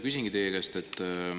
Küsingi teie käest.